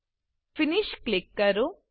finish finish click કરો